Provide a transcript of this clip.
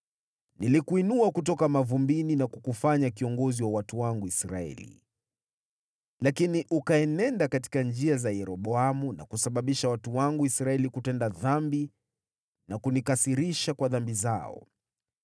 “Nilikuinua kutoka mavumbini na kukufanya kiongozi wa watu wangu Israeli, lakini ukaenenda katika njia za Yeroboamu na kusababisha watu wangu Israeli kutenda dhambi na kunikasirisha kwa dhambi zao.